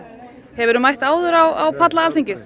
hefurðu mætt áður á palla Alþingis